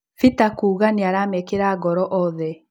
Bita kuuga nĩaramekĩra ngoro othe.